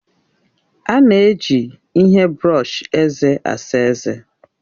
A na-eji ihe brọọshi eze asa ezé.